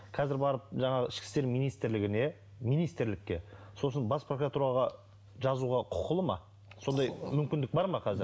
қазір барып жаңағы ішкі істер министрлігіне министрлікке сосын бас прокуратураға жазуға құқылы ма сондай мүмкіндік бар ма қазір